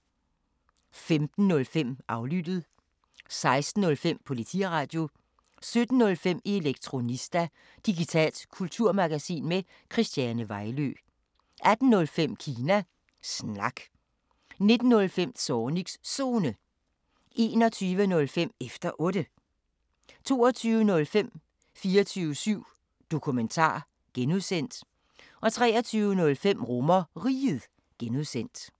15:05: Aflyttet 16:05: Politiradio 17:05: Elektronista – digitalt kulturmagasin med Christiane Vejlø 18:05: Kina Snak 19:05: Zornigs Zone 21:05: Efter Otte 22:05: 24syv Dokumentar (G) 23:05: RomerRiget (G)